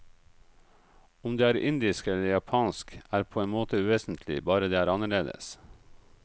Om det er indisk eller japansk, er på en måte uvesentlig, bare det er annerledes.